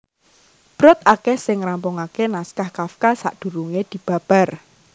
Brod akèh sing ngrampungaké naskah Kafka sadurungé dibabar